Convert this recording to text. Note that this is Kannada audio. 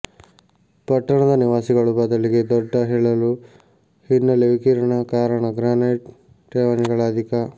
ಪಟ್ಟಣದ ನಿವಾಸಿಗಳು ಬದಲಿಗೆ ದೊಡ್ಡ ಹೇಳಲು ಹಿನ್ನೆಲೆ ವಿಕಿರಣ ಕಾರಣ ಗ್ರಾನೈಟ್ ಠೇವಣಿಗಳ ಅಧಿಕ